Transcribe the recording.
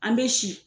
An bɛ si